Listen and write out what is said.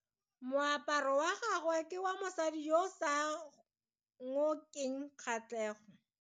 Moaparo wa gagwe ke wa mosadi yo o sa ngokeng kgatlhego.